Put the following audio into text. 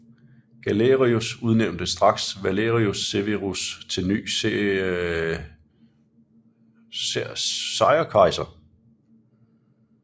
Galerius udnævnte straks Valerius Severus til ny seiorkejser